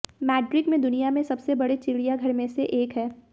Madrid में दुनिया में सबसे बड़े चिड़ियाघर में से एक है